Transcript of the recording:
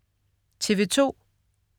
TV2: